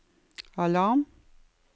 alarm